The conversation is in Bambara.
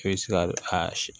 I bɛ se ka a